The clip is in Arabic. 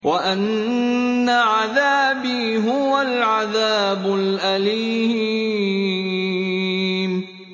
وَأَنَّ عَذَابِي هُوَ الْعَذَابُ الْأَلِيمُ